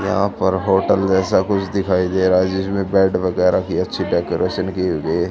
यहां पर होटल जैसा कुछ दिखाई दे रहा है जिसमें बेड वगैरह की अच्छी डेकोरेशन की हुई है।